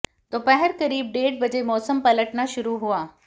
दोपहर करीब डेढ़ बजे मौसम पलटना शुरू हुआ